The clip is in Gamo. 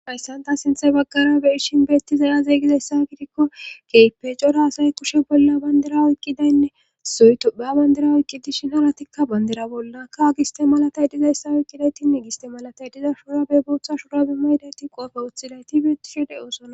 Hayssan ta sinthe baggara be ishin beettizay azeeygizayssa gidikko keype cora asay kushe bolla bandira oyqqidaynne soytopha bandira oyqqi dishin aratikka bandira bollakka agiste malatay dizayssa oyqqidaytinne giste malatay diza shuraabe booththa shurabe maydayti qoofe wuththidayti beettishe de7ososana.